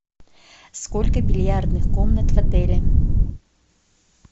сколько бильярдных комнат в отеле